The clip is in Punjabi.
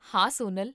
ਹਾਂ, ਸੋਨਲ